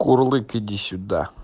курлык иди сюда